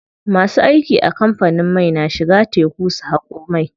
Masu aiki a kamfanin mai na shiga teku su haƙo mai.